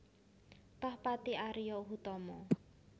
Tohpati Ario Hutomo